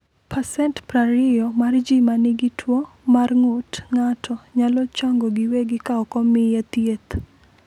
20% mar ji ma nigi tuwo mar ng’ut ng’ato nyalo chango giwegi ka ok omiye thieth.